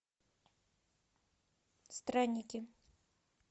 странники